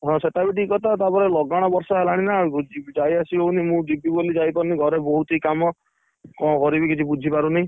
ହଁ, ସେଟା ବି ଠିକ କଥା ତାପରେ ଲଗାଣ ବର୍ଷା ହେଲାଣି ନା ଯାଇଆସି ହଉନି ମୁଁ ଯିବି ବୋଲି ଯାଇପାରୁନି, ଘରେ ବହୁତ ହି କାମ, କଣ କରିବି କିଛି ବୁଝିପାରୁନି!